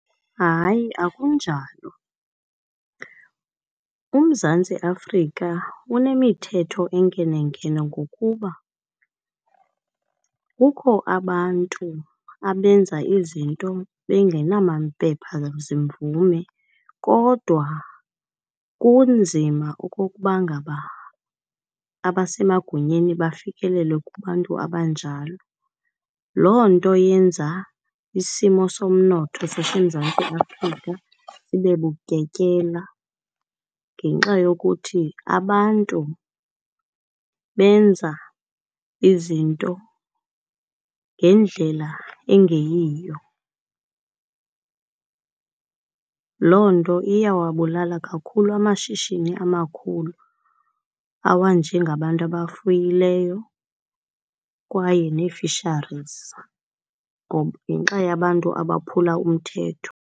Hayi, akunjalo. UMzantsi Afrika unemithetho enkenenkene ngokuba kukho abantu abenza izinto bengenamaphepha zimvume, kodwa kunzima okokuba ngaba abasemagunyeni bafikelele kubantu abanjalo. Loo nto yenza isimo somnotho zaseMzantsiAfrika ibe bukekela ngenxa yokuthi abantu benza izinto ngendlela engeyiyo. Loo nto iyawabulala kakhulu amashishini amakhulu awanjengabantu abafuyileyo kwaye ne-fisheries ngenxa yabantu abaphula umthetho.